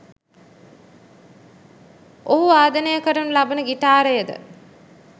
ඔහු වාදනය කරනු ලබන ගිටාරයද